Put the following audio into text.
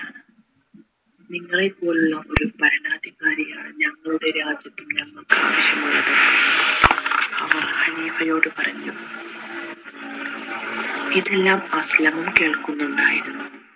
നിങ്ങളെ പോലുള്ള ഒരു ഭരണാധികാരിയെയാണ് ഞങ്ങളുടെ രാജ്യത്ത് ഞങ്ങൾക്ക് അവർ ഖലീഫയോട് പറഞ്ഞു ആവശ്യമുള്ളത് ഇതെല്ലം കേൾക്കുന്നുണ്ടായിരുന്നു